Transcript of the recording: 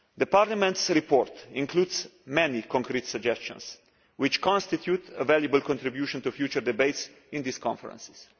Parliament's report includes many concrete suggestions which constitute a valuable contribution to future debates in these conferences.